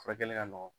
Furakɛli ka nɔgɔn